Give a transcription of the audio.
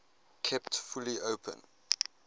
kept fully open